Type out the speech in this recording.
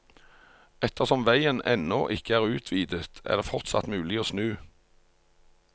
Ettersom veien ennå ikke er utvidet, er det fortsatt mulig å snu.